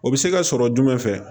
O bɛ se ka sɔrɔ jumɛn fɛ